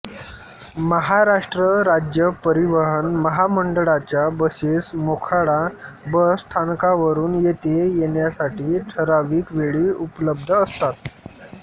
महाराष्ट्र राज्य परिवहन महामंडळाच्या बसेस मोखाडा बस स्थानकावरून येथे येण्यासाठी ठराविक वेळी उपलब्ध असतात